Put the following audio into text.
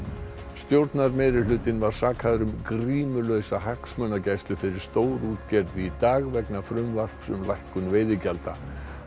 stjórnarmeirihlutinn var sakaður um grímulausa hagsmunagæslu fyrir stórútgerð í dag vegna frumvarps um lækkun veiðigjalda